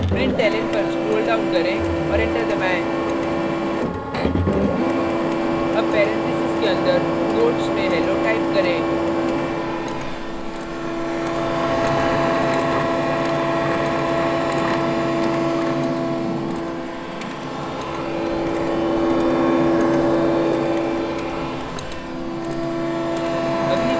println पर scroll down करें और enter दबाएँ अब paranthesis के अंदर quotes में hello type करें